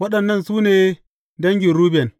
Waɗannan su ne dangin Ruben.